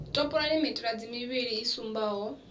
topolani mitaladzi mivhili i sumbaho